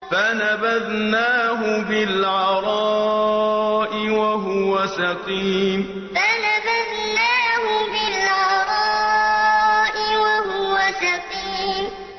۞ فَنَبَذْنَاهُ بِالْعَرَاءِ وَهُوَ سَقِيمٌ ۞ فَنَبَذْنَاهُ بِالْعَرَاءِ وَهُوَ سَقِيمٌ